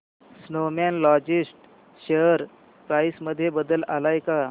Snowman logistics share price मध्ये बदल आलाय का